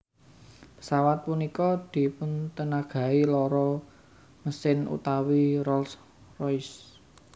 Pesawat punika dipuntènagai loro mesin utawi Rolls Royce